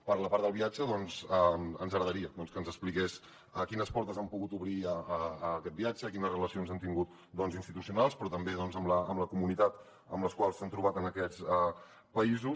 per la part del viatge ens agradaria que ens expliqués quines portes han pogut obrir aquest viatge quines relacions han tingut doncs institucionals però també amb les comunitats amb les quals s’han trobat en aquests països